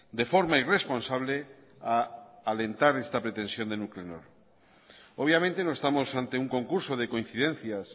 de forma irresponsable a alentar esta pretensión de nuclenor obviamente no estamos ante un concurso de coincidencias